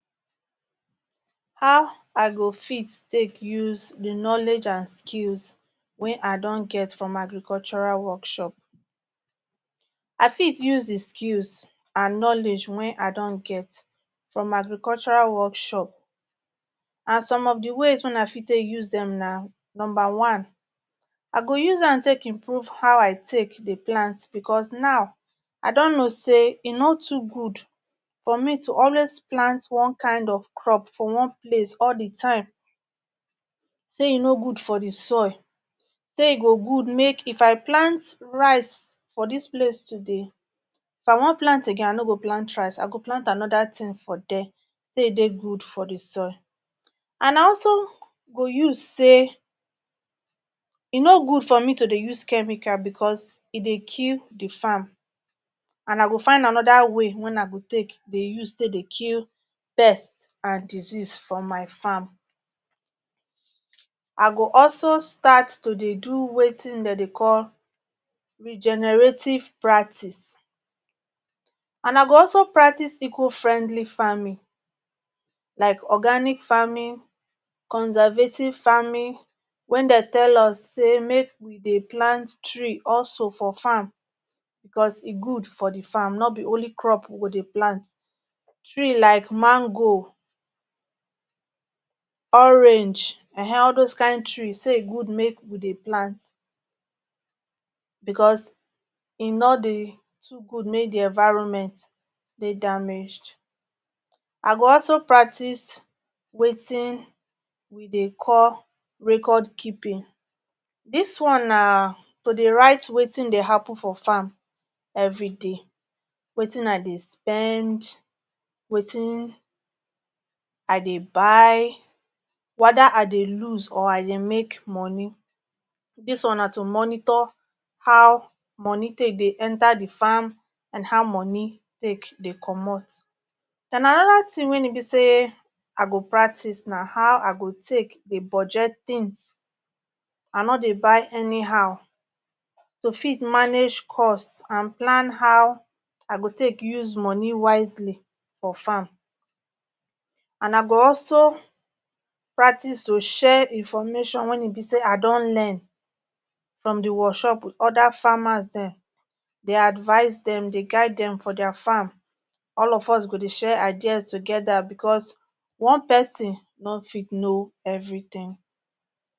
How I go fit take use the knowledge and skills wey I don get from Agricultural workshop? I fit use the skills and knowledge wey I don get from Agricultural workshop and some of the ways wey I fit take use dem na. Number one, I go use am take improve how I take dey plant because now I don know say e no too good for me to always plant one kind of crop for one place all the time, say e no good for the soil, say e go good make if I plant rice for dis place today, if I wan plant again I no go plant rice I go plant another thing for there say e no good for the soil. And na also go use say e no good for me to dey use chemical because e dey kill the farm and I go find another way wen I go take dey use take dey kill pest and disease for my farm. I go also start to dey do wetin dem dey call regenerative practice, and I go also practice eco-friendly farming like organic farming, conservative farming, wen dey tell us say make we dey plant tree also for farm because e good for the farm no be only crop we go dey plant for the farm, tree like mango, orange um, all those kain tree say e good make we dey plant because e no dey too good make the environment dey damaged. I go also practice wetin we dey call record keeping. Dis one na to dey write wetin dey happen for farm everyday, wetin I dey spend, wetin I dey buy whether I dey loose or I dey make money. Dis one na to monitor how money take dey enter the farm and how money take dey comot. And another thing wen e be say I go practice na how I go take dey budget things, I no dey buy anyhow to fit manage cost and plan how I go take use money wisely for farm and I go also practice to share information wen e be say I don learn from the workshop other farmers dem. Dey advice dem, dey guide dem for their farm all of us go dey share ideas together because one person no fit know everything.